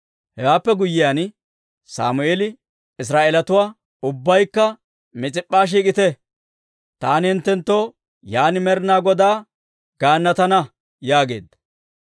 Hewaappe guyyiyaan, Sammeeli Israa'eelatuwaa, «Ubbaykka Mis'ip'p'a shiik'ite; taani hinttenttoo yaan Med'inaa Godaa gaannatana» yaageedda.